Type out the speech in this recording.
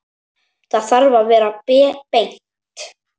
Það þarf að vera beint.